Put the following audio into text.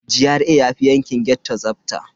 GRA yafi yankin ghetto tsafta.